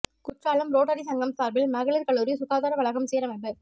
Courtallam rotary சங்கம் சாா்பில் மகளிா் கல்லூரி சுகாதார வளாகம் சீரமைப்பு